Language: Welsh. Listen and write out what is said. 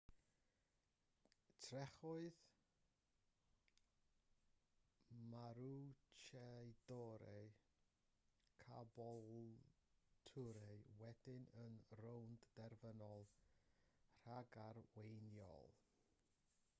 trechodd maroochydore caboolture wedyn yn y rownd derfynol ragarweiniol